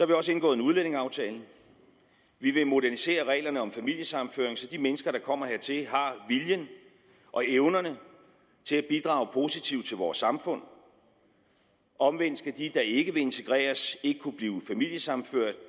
vi også indgået en udlændingeaftale vi vil modernisere reglerne om familiesammenføring så de mennesker der kommer hertil har viljen og evnerne til at bidrage positivt til vores samfund omvendt skal de der ikke vil integreres ikke kunne blive familiesammenført